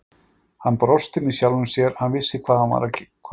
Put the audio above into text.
Hann brosti með sjálfum sér, hann vissi hvað var að gerast.